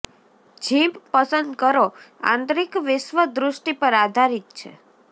gym પસંદ કરો આંતરિક વિશ્વ દૃષ્ટિ પર આધારિત છે